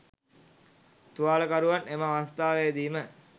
තුවාලකරුවන් එම අවස්ථාවේදීම